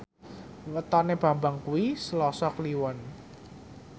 wetone Bambang kuwi Selasa Kliwon